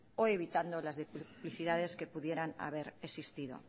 o evitando las duplicidades que pudieran haber existido